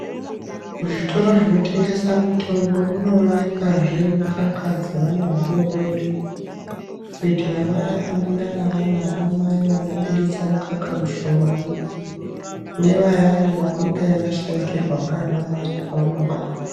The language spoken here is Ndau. Muzvitoro zvinotengesa mitombo munoonekazve mukaka dzeana adodori kuitira vaye vanenge ane anamai vanobudzitsa mukaka mushomani ngevayani vanenge vashaikirwa naana mai pavanobarwa.